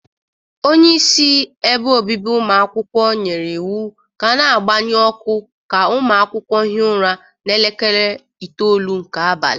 Onyeisi ebe obibi ụmụ akwukwọ nyiri iwu ka a na-agbaṅyụ ọkụ ka ụmụ akwụkwọ hie ụra n'elekere itoolu nke abali